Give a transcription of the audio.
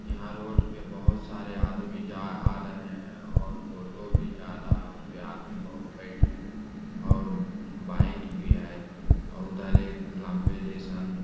यहाँ रोड पे बहुत सारे आदमी जा आ रहें हैं और टोटों भी जा रहा है उसपे आदमी बहुत बैठे हैं और बाइक भी है और उधर एक लंबे जइसन --